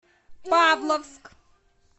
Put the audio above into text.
павловск